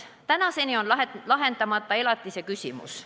Tänaseni on lahendamata ka elatise küsimus.